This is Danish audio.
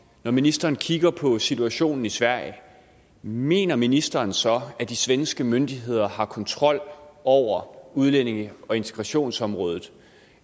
når ministeren kigger på situationen i sverige mener ministeren så at de svenske myndigheder har kontrol over udlændinge og integrationsområdet